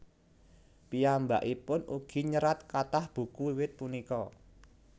Piyambakipun ugi nyerat kathah buku wiwit punika